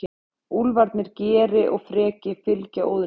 Úlfarnir Geri og Freki fylgja Óðni.